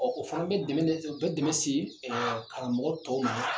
Ɔ o fana bɛ dɛmɛ o bɛ dɛmɛ se karamɔgɔ tɔw ma.